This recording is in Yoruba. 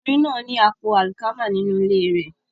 Ọkùnrin náà ní àpò àlìkámà nínú ilé rẹ̀